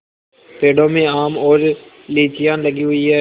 पेड़ों में आम और लीचियाँ लगी हुई हैं